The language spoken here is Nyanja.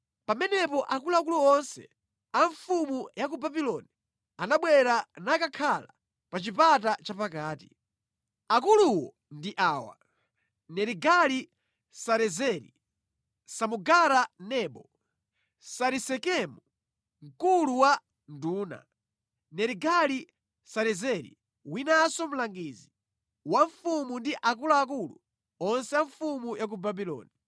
Pamenepo akuluakulu onse a mfumu ya ku Babuloni anabwera nakakhala pa Chipata Chapakati. Akuluwo ndi awa: Nerigali-Sarezeri, Samugara Nebo, Sarisekimu mkulu wa nduna, Nerigali-Sarezeri winanso mlangizi wa mfumu ndi akuluakulu onse a mfumu ya ku Babuloni.